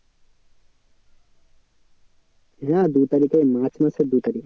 হ্যাঁ দু তারিখে march মাসের দু তারিখ।